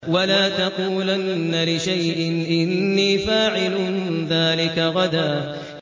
وَلَا تَقُولَنَّ لِشَيْءٍ إِنِّي فَاعِلٌ ذَٰلِكَ غَدًا